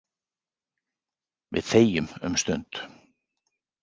Við þegjum um stund.